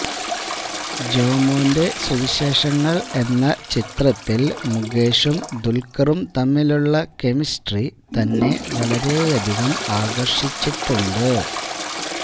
ജോമോന്റെ സുവിശേഷങ്ങള് എന്ന ചിത്രത്തില് മുകേഷും ദുല്ക്കറും തമ്മിലുള്ള കെമിസ്ട്രി തന്നെ വളരെയധികം ആകര്ഷിച്ചിട്ടുണ്ട്